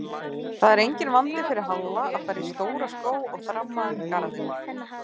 Það er enginn vandi fyrir Halla að fara í stóra skó og þramma um garðinn